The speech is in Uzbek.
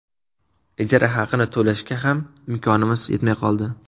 Ijara haqini to‘lashga ham imkonimiz yetmay qoldi.